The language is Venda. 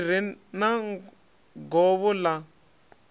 ḽi re na govho ḽa